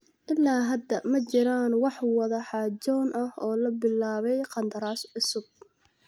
Ilaa hadda ma jiraan wax wada xaajood ah oo la bilaabay qandaraas cusub.